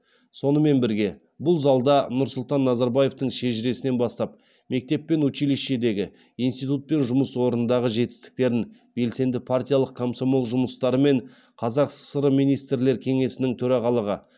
сонымен бірге бұл залда нұрсұлтан назарбаевтың шежіресінен бастап мектеп пен училищедегі институт пен жұмыс орнындағы жетістіктерін белсенді партиялық комсомол жұмыстары мен қазақ сср министрлер кеңесінің төрағалығы